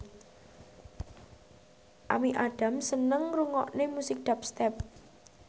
Amy Adams seneng ngrungokne musik dubstep